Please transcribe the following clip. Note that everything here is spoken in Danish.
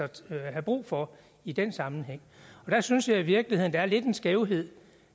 have brug for i den sammenhæng jeg synes i virkeligheden at det er lidt en skævhed